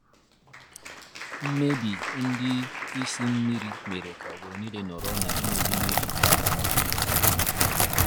Mmebi ndi ịsị mmiri mere ka obodo nile nọrọ na enweghi miri taa. taa.